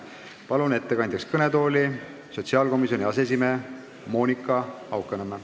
Palun ettekandjaks kõnetooli sotsiaalkomisjoni aseesimehe Monika Haukanõmme.